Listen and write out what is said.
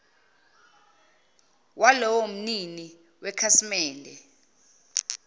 walowo mnini wekhasimende